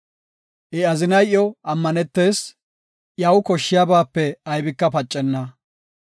I azinay iyo ammanetees; iyaw koshshiyabaape aybika pacenna.